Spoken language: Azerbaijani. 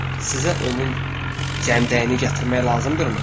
Sizə onun cəmdəyini gətirmək lazımdırmı?